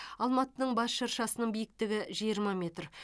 алматының бас шыршасының биіктігі жиырма метр